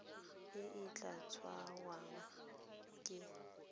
e e tla tsewang ke